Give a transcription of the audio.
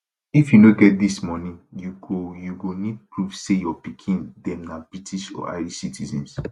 if you no get dis money you go you go need prove say your pikin dem na british or irish citizens